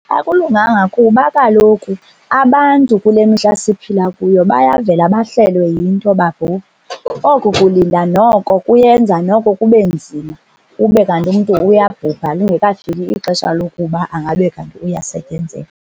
Akulunganga kuba kaloku abantu kule mihla siphila kuyo bayavela bahlelwe yinto babhubhe. Oko kulinda noko kuyenza noko kube nzima, kube kanti umntu uyabhubha lingekafiki ixesha lokuba angabe kanti uyasetyenzelwa.